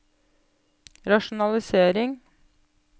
rasjonalisering